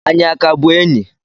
Anyị a ka bụ enyi?